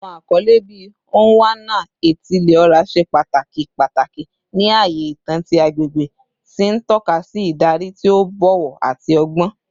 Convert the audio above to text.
Awọn akọle bii “Onwa-na-etili-ora” ṣe pataki pataki ni aaye itan ti agbegbe, ti n tọka si idari ti o bọwọ ati ọgbọn.